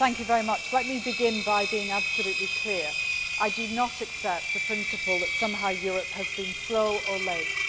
Madam President, let me begin by being absolutely clear. I do not accept the principle that somehow Europe has been slow or late.